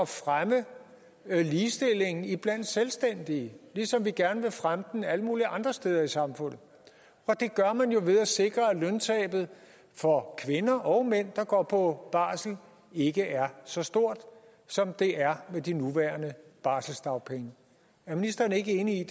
fremme ligestillingen iblandt selvstændige ligesom vi gerne vil fremme den alle mulige andre steder i samfundet og det gør man jo ved at sikre at løntabet for kvinder og mænd der går på barsel ikke er så stort som det er med de nuværende barselsdagpenge er ministeren ikke enig i